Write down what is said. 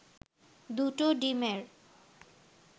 দুটো ডিমের